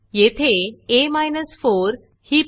येथे आ 4 ही पदावली लिहा